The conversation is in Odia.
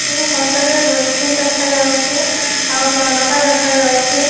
ଏହି ଫଟୋ ରେ ଡ୍ରୋର ସ୍କ୍ରିନ ଦେଖାଯାଉଛି ଆଉ ଝରକା ଦେଖାଯାଉଛି।